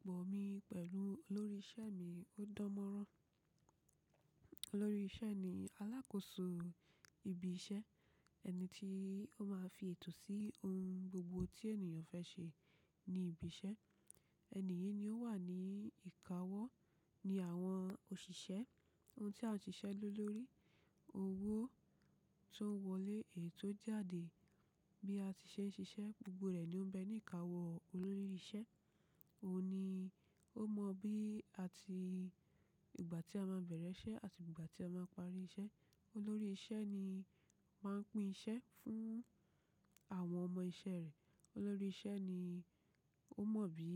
Ìbáṣepọ̀ mi pẹ̀lú olórí iṣẹ́ mi ó dán mọ́rán. Olórí iṣẹ́ ni alákòóso ibi iṣẹ́, ẹni tí ó máa fi ètò sí ohun gbogbo tí ènìyàn fẹ́ ṣe ní ibi iṣẹ́. Ẹ̀níyìí ni ó wà ní ìkáwọ́ ni àwọn òṣìṣẹ́, ohun tí àwọn òṣìṣẹ́ lò lórí, owó tó ń wọlé èyí tó jáde bí a ti ṣe ń ṣiṣẹ́ gbogbo rẹ̀ ni ó ń bẹ ní ìkáwọ́ olórí iṣẹ́. Òun ni ó mọ bí àti ìgbà tí a máa bẹ̀rẹ̀ iṣẹ́ àti ìgbà tí a máa parí iṣẹ́. Olórí iṣẹ́ ni máa ń pín iṣẹ́ fún àwọn ọmọ iṣẹ́ rẹ̀. Olórí iṣẹ́ ni ó mọ bí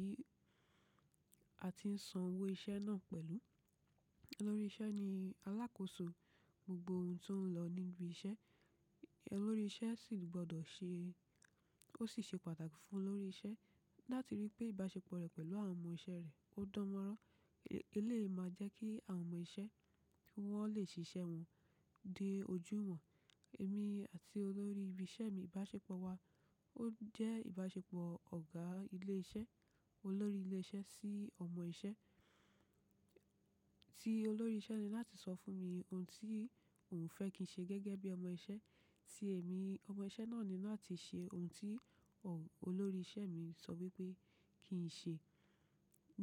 a ti ń san owó iṣẹ́ náà pẹ̀lú. Olórí iṣẹ́ ni alákòóso gbogbo ohun tó ń lọ níbi iṣẹ́. Olórí iṣẹ́ sì gbọ́dọ̀ ṣe-- ó sì ṣe pàtàkì fún olórí iṣẹ́ láti ríi pé ìbáṣepọ̀ rẹ̀ pẹ̀lú àwọn ọmọ iṣẹ́ rẹ̀ ó dán mọ́rán. Eléyi ma jẹ́ kí àwọn ọmọ iṣẹ́ tí wọ́n lè ṣiṣẹ́ wọn dé ojúù wọn. Èmi àti olórí ibi iṣẹ́ mi ìbáṣepọ̀ wa ó jẹ́ ìbáṣepọ̀ ọ̀gá ilé iṣẹ́, olórí ilé iṣẹ́ sí ọmọ iṣẹ́. Tí olórí iṣẹ́ ni láti sọ fún mi ohun tí òun fẹ́ kí n ṣe gẹ́gẹ́ bí ọmọ iṣẹ́ tí èmi ọmọ iṣẹ́ náà ni láti ṣe ohun tí ọ̀ olórí iṣẹ́ mi sọ wípé kí n ṣe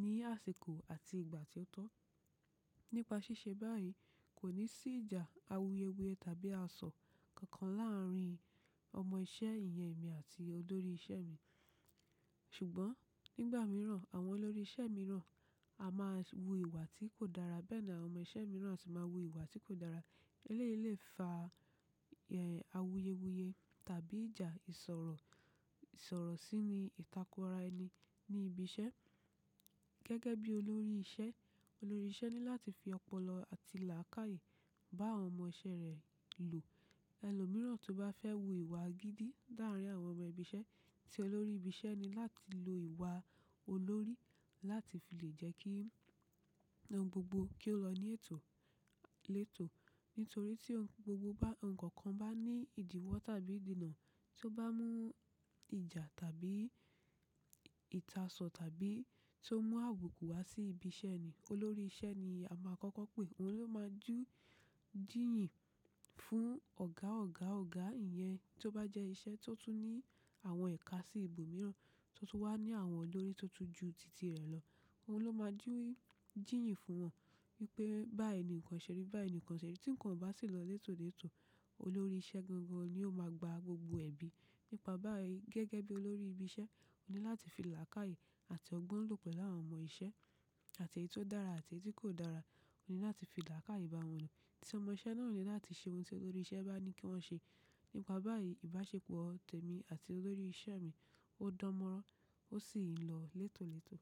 ní àsìkò àti ìgbà tí ó tọ́. Nípa ṣíṣe báyìí kò ní sí ìjà, àwuyewuye tàbí àsọ kankan láàárín ọmọ iṣẹ́ ìyẹn èmi àti olórí iṣẹ́ mi. Ṣùgbọ́n nígbà mìíràn àwọn olórí iṣẹ́ mìíràn a máa wu ìwà tí kò dára bẹ́ẹ̀ náà àwọn ọmọ iṣẹ́ mìíràn sì máa wu ìwà tí kò dára eléyìí lè fa àwuyewuye tàbí ìjà ìsọ̀rọ̀, ìsọ̀rọ̀ sí i ni ìtàkùra ẹni ní ibi iṣẹ́. Gẹ́gẹ́ bí olórí iṣẹ́, olórí iṣẹ́ ní láti fi ọpọlọ àti làákàyè bá àwọn ọmọ iṣẹ́ rẹ̀ lò. Ẹ̀lo mìíràn tó bá fẹ́ wu ìwà gidi dáhùn ní àwọn ọmọ ibi iṣẹ́ tí olórí ibi iṣẹ́ ni láti lo ìwà olórí láti fi lè jẹ́ kí ohun gbogbo kí ó lọ ní ètò, létò. Nítorí tí ohun gbogbo bá-- ohun kan bá ní ìdíwọ́ tàbí ìdènà tó bá mú ìjà tàbí ìtàsọ tàbí tó mú àbuku wá sí ibi iṣẹ́ ni olórí iṣẹ́ ni a máa kọ́kọ́ pè. Òun ló máa jú jìyìn fún ọ̀gá ọ̀gá ọ̀gá ìyẹn tó bá jẹ́ iṣẹ́ tó tú ní àwọn ẹ̀ka sí ibòmíràn tó tú wá ní àwọn olórí tó tú ju tìtì rẹ̀ lọ. Òun ló máa jí jìyìn fún wọn wípé báyi nìkan ṣẹ̀ rí bái nìkan ṣẹ̀ rí tí ǹkan bá sì lọ létòlètò olórí iṣẹ́ gangan ni ó máa gba gbogbo ẹ̀bi nípa báyìí. Gẹ́gẹ́ bí olórí ibi iṣẹ́ òní láti fi làákàyè àti ọgbọ́n lò pẹ̀lú àwọn ọmọ iṣẹ́ àti èyí tó dára àti èyí tí kò dára òní láti fi làákàyè bá wọn lò. Tí ọmọ iṣẹ́ náà ò ní láti ṣe ohun tí olórí iṣẹ́ bá ní kí wọ́n ṣe. Nípa báyìí ìbáṣepọ̀ tẹ̀mi àti olórí iṣẹ́ mi ó dán mọ́rán ó sì ń lọ létòlètò.